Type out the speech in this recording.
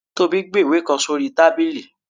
Tobi gbe ìwe kan sorí tábilí.